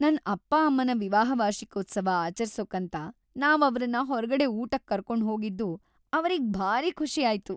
ನನ್‌ ಅಪ್ಪ ಅಮ್ಮನ ವಿವಾಹ ವಾರ್ಷಿಕೋತ್ಸವ ಆಚರ್ಸೋಕಂತ ನಾವ್ ಅವ್ರನ್ನ ಹೊರ್ಗಡೆ ಊಟಕ್ ಕರ್ಕೊಂಡ್ ಹೋಗಿದ್ದು ಅವ್ರಿಗ್‌ ಭಾರೀ ಖುಷಿ ಆಯ್ತು.